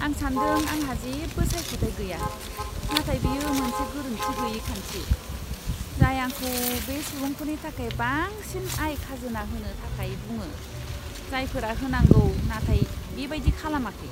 आं सान्दों आंहा जेबो सायख'थाय गैया, नाथाय बेयो मोनसे गोरोन्थि गैयै खान्थि, जाय आंखौ बै सुबुंफोरनि थाखाय बांसिन आय खाजोना होनो थाखाय बुङो, जायफोरा होनांगौ नाथाय बेबायदि खालामाखै।